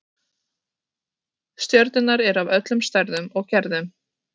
Stjörnurnar eru af öllum stærðum og gerðum.